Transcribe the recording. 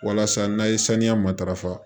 Walasa n'a ye saniya matarafa